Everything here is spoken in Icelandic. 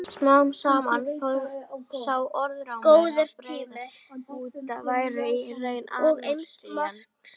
Smám saman fór sá orðrómur að breiðast út að hún væri í raun Anastasía.